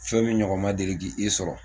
Fɛn min ɲɔgɔn ma deli ki i sɔrɔ